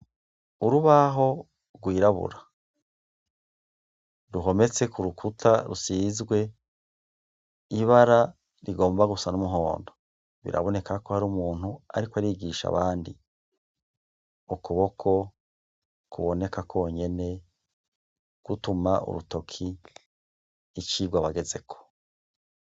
Urubaho rwirabura. Ruhometse ku rukuta rusizwe ibara rigomba gusa n'umuhondo. Biraboneka ko hari umuntu ariko arigisha abandi. Ukuboko kuboneka kwonyene, gituma urutoke icigwa bagezeko.